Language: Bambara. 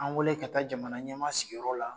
An wele ka taa jamana ɲɛma sigiyɔrɔ la